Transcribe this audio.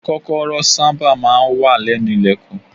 Kọ́kọ́rọ́ sábà máa ń wà lẹ́nu ilẹ̀kùn.